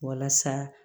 Walasa